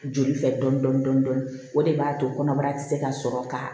Joli fɛ dɔɔnin dɔɔnin o de b'a to kɔnɔbara ti se ka sɔrɔ ka